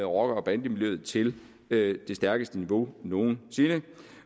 rocker bande miljøet til det højeste niveau nogensinde